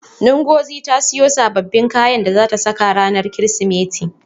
Ngozi ta siyo sababbin kayan da zata saka ranar Kirsimeti.